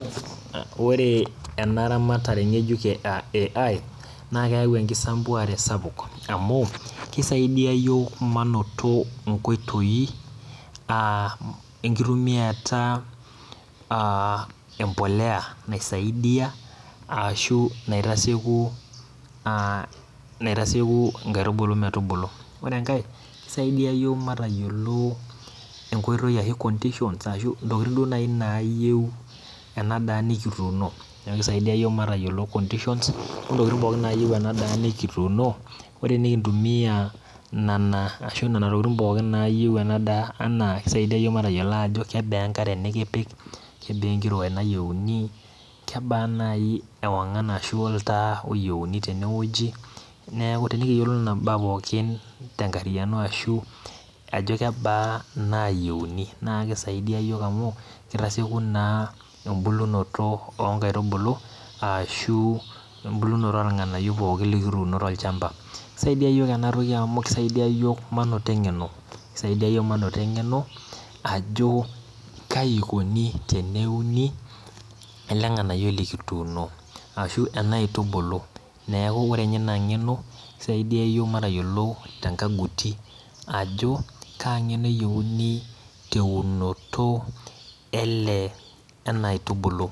Ore enaramatare ngejuk e AI naa keyau enkisampuare sapuk amukisaidia yiok manoto nkoitoi aa enkitumiata aa empolea naisaidia ashu naitasieku aa naitasieku nkaitubulu metubulu. Ore enkae yiok matayiolo enkoitoi ashu conditions ashu ntokitin duo nai nayieu ena daa nikituuno. Neeku kisaidia yiok matayiolo conditions ontokitin pooki nayieu ena daa nikituuno ore nikintumia nana ashu nena tokitin pookin nayieu ena daa anaa kisaidia yiok matayiolo ajo kebaa enkare nikipik kebaa enkiroe nayieuni , kebaa nai ewangan ashu oltaa oyienu tene wueji naaku tenikiyiolou nena baa pookin tenkariano ashu kebaa inaayienu naa kisaidia yiok amu kitasieku naa embulunoto onkaitubulu ashu embulunoto ornganayio pookin likituuno tolchamba . Kisaidia yiok enatoki amu kisaidia yiok manoto engeno , kisaidia yiok manoto engeno ajo kai ikoni teneuni ele nganayioyi likituuno ashu enaitubulu , neeku ore nye ina ngeno kisaidia yiok matayiolo tenkaguti ajo kaa ngeno eyieuni teunoto ele enaitubulu.